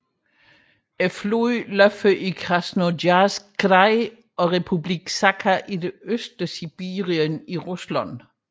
Floden løber i Krasnojarsk kraj og Republikken Sakha i det østlige Sibirien i Rusland